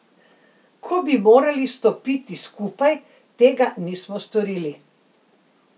Ko bi morali stopiti skupaj, tega nismo storili.